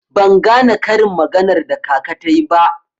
Ban gane karin maganar da kaka tayi ba.